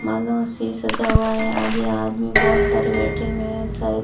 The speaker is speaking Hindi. मालों से सजा हुआ है आगे आदमी बहुत सारे बैठे हुए हैं शायद।